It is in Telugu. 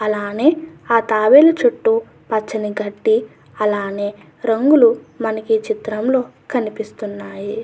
అలానే ఆ తాబేలు చుట్టూ పచ్చని గడ్డి అలానే రంగులు మనకీ చిత్రంలో కనిపిస్తున్నాయి.